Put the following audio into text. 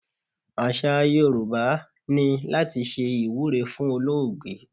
Àṣà Yorùbá ni láti ṣe ìwúre fún olóògbé.